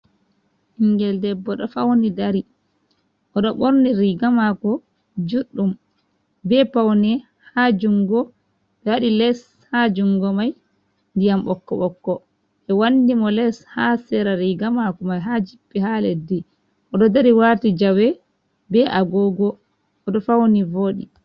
Ɓingel debbo ɗo fauni dari. O ɗo borni riga mako juɗɗum be paune ha jungo, ɓe wadi les ha jungo mai ndiyam ɓokko-ɓokko ɓe wanni mo les ha sera riga mako mai ha jippi ha leddi. O ɗo dari wati jawe be agogo, o ɗo fauni woodi.